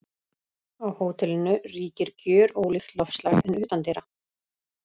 Á hótelinu ríkir gjörólíkt loftslag en utandyra.